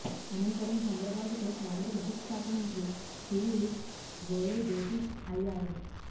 అనంతరం చంద్రబాబుతో కేంద్ర విద్యుత్ శాఖ మంత్రి పీయూష్ గోయల్ భేటీ అయ్యారు